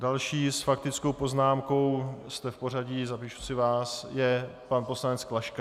Další s faktickou poznámkou - jste v pořadí, zapíšu si vás - je pan poslanec Klaška.